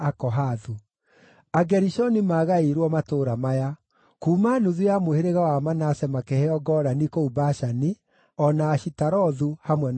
Agerishoni maagaĩirwo matũũra maya: Kuuma nuthu ya mũhĩrĩga wa Manase makĩheo Golani kũu Bashani, o na Ashitarothu, hamwe na ũrĩithio wamo;